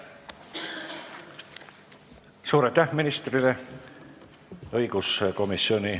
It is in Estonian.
Suur aitäh ministrile!